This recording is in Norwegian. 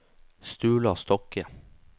Sturla Stokke